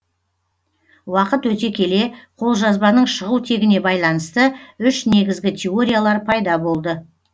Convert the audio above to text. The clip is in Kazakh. уақыт өте келе қолжазбаның шығу тегіне байланысты үш негізгі теориялар пайда болды